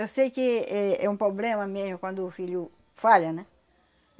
Eu sei que é é um problema mesmo quando o filho falha, né?